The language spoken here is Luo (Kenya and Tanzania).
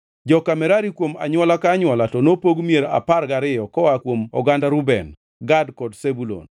Joka Merari kuom anywola ka anywola to nopog mier apar gariyo koa kuom oganda Reuben, Gad kod Zebulun.